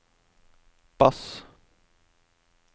bass